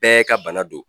Bɛɛ ka bana don